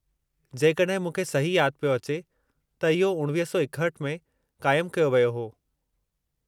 जेकॾहिं मूंखे सही यादि पियो अचे त इहो 1961 में क़ाइमु कयो वियो हो।